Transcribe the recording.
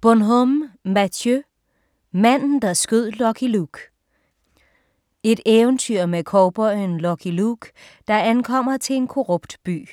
Bonhomme, Matthieu: Manden der skød Lucky Luke Et eventyr med cowboyen Lucky Luke, der ankommer til en korrupt by.